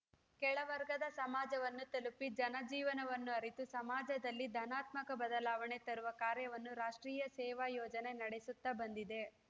ಕೆಳವರ್ಗದ ಸಮಾಜವನ್ನೂ ತಲುಪಿ ಜನ ಜೀವನವನ್ನು ಅರಿತು ಸಮಾಜದಲ್ಲಿ ಧನಾತ್ಮಕ ಬದಲಾವಣೆ ತರುವ ಕಾರ್ಯವನ್ನು ರಾಷ್ಟ್ರೀಯ ಸೇವಾ ಯೋಜನೆ ನಡೆಸುತ್ತಾ ಬಂದಿದೆ